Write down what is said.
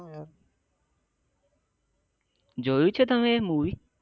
જોયું છે તમે એ મુવી